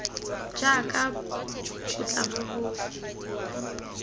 jaaka bo tla bo bo